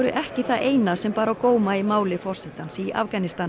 ekki það eina sem bar á góma í máli forsetans í Afganistan